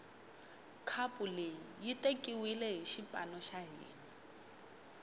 khapu leyi yi tekiwile hi xipano xa hina